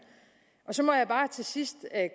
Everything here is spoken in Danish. så må jeg bare til sidst